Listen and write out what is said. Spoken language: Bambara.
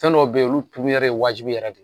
Fen dɔw bɛ yen olu ye wajibi yɛrɛ de ye